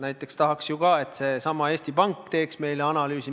Näiteks tahaks ju ka, et seesama Eesti Pank teeks meile analüüsi.